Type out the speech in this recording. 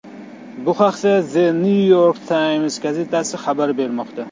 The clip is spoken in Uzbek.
Bu haqda The New York Times gazetasi xabar bermoqda .